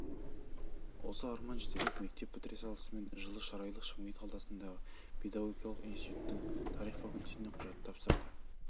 осы арман жетелеп мектеп бітіре салысымен жылы шырайлы шымкент қаласындағы педагогикалық институттың тарих факультетіне құжат тапсырды